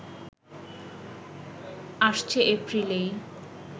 আসছে এপ্রিলেই